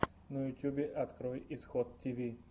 на ютьюбе открой исход тиви